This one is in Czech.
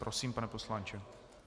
Prosím, pane poslanče.